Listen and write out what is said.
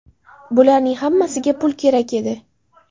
Bularning hammasiga pul kerak edi.